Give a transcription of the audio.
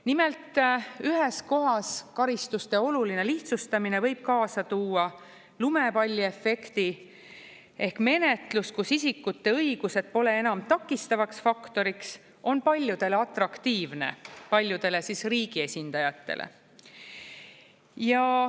Nimelt, ühes kohas karistuste oluline lihtsustamine võib kaasa tuua lumepalliefekti ehk menetlus, kus isikute õigused pole enam takistavaks faktoriks, on paljudele atraktiivne, paljudele riigi esindajatele.